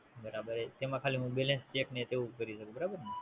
બરાબર. તેમાં હું ખાલી Balance check ને તેવું કરી શકું. બરાબર ને?